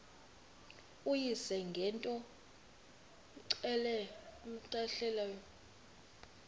uyise ngento cmehleleyo